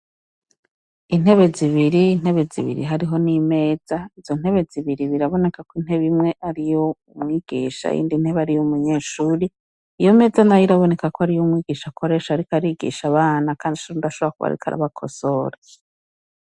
Intebe zibiri, intebe zibiri hariho n’imeza , izo ntebe zibiri biraboneka ko inteb’imwe ariy’umwigisha , iyindi ntebe ariy’umunyrshure, iyo meza nayo irabonekakw’ariy’umwigisha akoresha arik’arigisha abana kand’ashobora kubar’iko arabakosora.